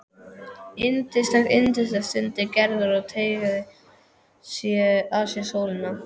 Yndislegt, yndislegt stundi Gerður og teygaði að sér sólina.